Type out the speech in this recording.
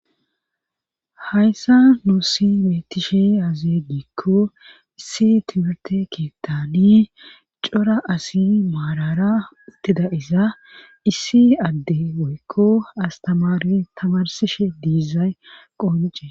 Hayssa nussi beetishshe dizay aze giikko issi timmirte keettani cora asi maalara uttida issi issi adde woykko astamare tamarsishshe diizay qonce